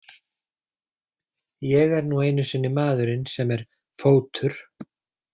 Ég er nú einu sinni maðurinn sem er Fótur.